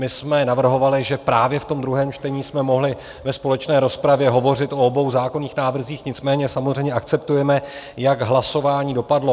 My jsme navrhovali, že právě v tom druhém čtení jsme mohli ve společné rozpravě hovořit o obou zákonných návrzích, nicméně samozřejmě akceptujeme, jak hlasování dopadlo.